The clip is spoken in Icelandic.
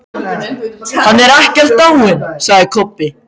Hann er ekkert dáinn, sagði Kobbi.